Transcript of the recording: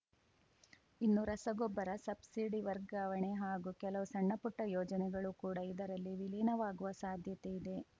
ಇನ್ನು ರಸಗೊಬ್ಬರ ಸಬ್ಸಿಡಿ ವರ್ಗಾವಣೆ ಹಾಗೂ ಕೆಲವು ಸಣ್ಣಪುಟ್ಟಯೋಜನೆಗಳು ಕೂಡ ಇದರಲ್ಲಿ ವಿಲೀನವಾಗುವ ಸಾಧ್ಯತೆ ಇದೆ